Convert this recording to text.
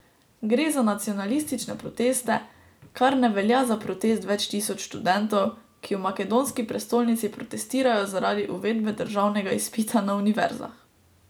Gre za nacionalistične proteste, kar ne velja za protest več tisoč študentov, ki v makedonski prestolnici protestirajo zaradi uvedbe državnega izpita na univerzah.